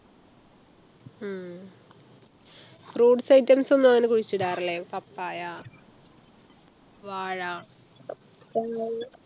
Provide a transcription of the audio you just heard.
ഉം Fruits Item അങ്ങനെ കുഴിച്ചിടാറില്ലേ papaya വാഴ